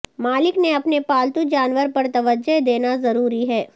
مالک نے اپنے پالتو جانور پر توجہ دینا ضروری ہے